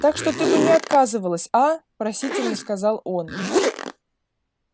так что ты бы не отказывалась аа просительно сказал он